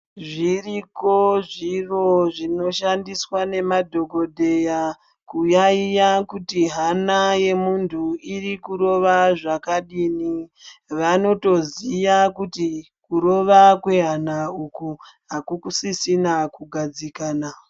Zviriko zviro zvinoshandiswa nemadhokodheya kuyaiya kuti hana yemuntu iri kurova zvakadini vanotoziya kuti kurova kwehana uku hakusisina kugadzikana.